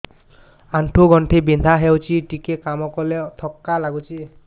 ଆଣ୍ଠୁ ଗଣ୍ଠି ବିନ୍ଧା ହେଉଛି ଟିକେ କାମ କଲେ ଥକ୍କା ଲାଗୁଚି